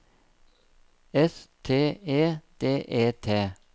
S T E D E T